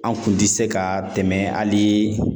An' kun ti se ka tɛmɛ halii